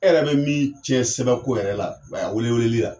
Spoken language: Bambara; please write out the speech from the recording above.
E yɛrɛ be min cɛn sɛbɛn ko yɛrɛ la a wele weleli la